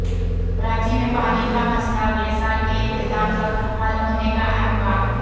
کراچی میں پانی کا مسئلہ اگلے سال کے اختتام تک حل ہونے کا امکان